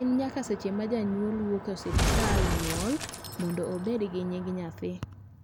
en nyaka seche ma janyuol wuok e osiptal bang nyuol mondo obed gi nying nyathi